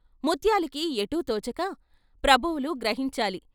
ముత్యాలుకి ఎటూ తోచక "ప్రభువులు గ్రహించాలి.